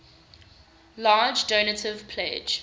large donative pledge